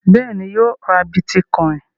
Bẹ́ẹ̀ ni, yóò ra bítíkọ́ìn.